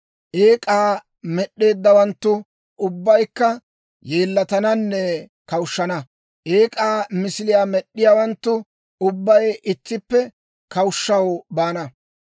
Eek'aa med'd'iyaawanttu ubbaykka yeellatananne kawushshana. Eek'aa misiliyaa med'd'iyaawanttu ubbay ittippe kawushshaw baana.